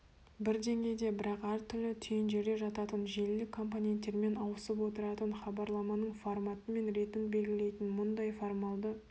бір деңгейде бірақ әр түрлі түйіндерде жататын желілік компоненттермен ауысып отыратын хабарламаның форматы мен ретін белгілейтін мұндай формалды